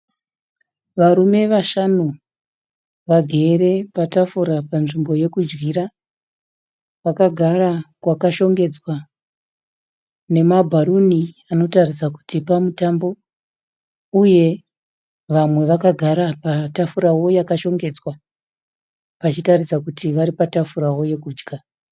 Varume vashanu vagere patafura panzvimbo yekudyira. Vakagara kwakashongedzwa nemabharuni anotaridza kuti pamutambo. Uye vamwe vakagara patafurawo yakashongedzwa vachitaridza kuti varipatafurawo yekudya.